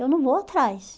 Eu não vou atrás.